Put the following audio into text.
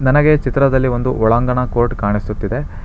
ನನಗೆ ಈ ಚಿತ್ರದಲ್ಲಿ ಒಂದು ಒಳಾಂಗಣ ಕೋರ್ಟ್ ಕಾಣಿಸುತ್ತಿದೆ.